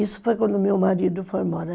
Isso foi quando meu marido foi embora.